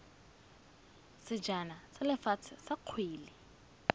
sejana sa lefatshe sa kgwele